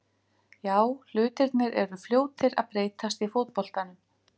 Já, hlutirnir eru fljótir að breytast í fótboltanum.